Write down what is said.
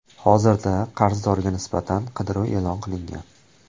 Hozirda qarzdorga nisbatan qidiruv e’lon qilingan.